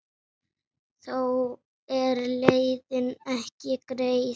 Þó er leiðin ekki greið.